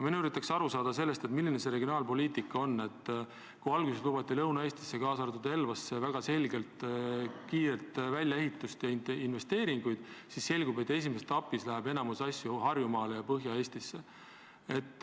Ma üritan aru saada sellest regionaalpoliitikast, et kui alguses lubati Lõuna-Eestisse, kaasa arvatud Elvasse, väga selgelt kiiret võrgu väljaehitust ja investeeringuid, siis nüüd selgub, et esimeses etapis tehakse enamik töid Harjumaal ja mujal Põhja-Eestis.